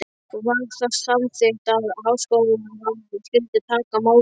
Var þar samþykkt, að Háskólaráðið skyldi taka málið upp.